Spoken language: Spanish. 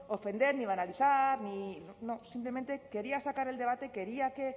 ofender ni banalizar ni no simplemente quería sacar el debate quería que